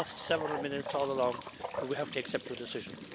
We lost several minutes all along, but we have to accept your decision.